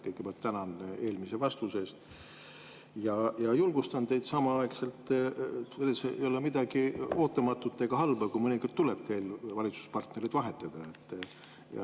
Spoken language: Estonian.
Kõigepealt tänan eelmise vastuse eest ja julgustan teid, et selles ei ole midagi ootamatut ega halba, kui mõnikord tuleb valitsuspartnereid vahetada.